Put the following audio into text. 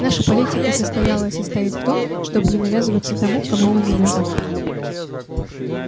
наша политика состояла и состоит в том чтобы не навязываться тому кому мы не нужны